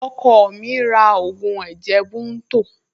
Ọkọ mi ra ògùn ẹ̀jẹ̀ bunto